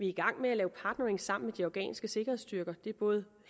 i gang med at lave partnering sammen med de afghanske sikkerhedsstyrker det er både